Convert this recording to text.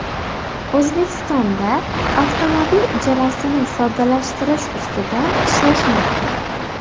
O‘zbekistonda avtomobil ijarasini soddalashtirish ustida ishlashmoqda .